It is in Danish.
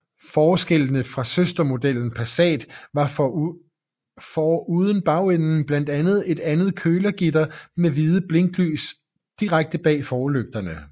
Forskellene fra søstermodellen Passat var foruden bagenden blandt andet et andet kølergitter med hvide blinklys direkte bagved forlygterne